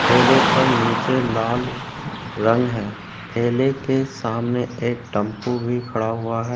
ठेले पर नीचे लाल रंग है ठेले के सामने एक टेम्पू भी खड़ा हुआ है।